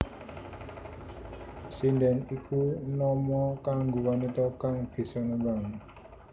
Sindhèn iku nama kanggo wanita kang bisa nembang